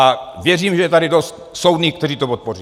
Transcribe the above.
A věřím, že je tady dost soudných, kteří to podpoří.